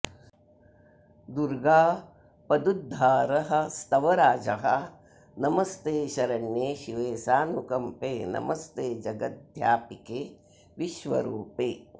दुर्गापदुद्धारस्तवराजः नमस्ते शरण्ये शिवे सानुकम्पे नमस्ते जगद्व्यापिके विश्वरूपे